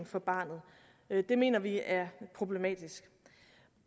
for barnet det mener vi er problematisk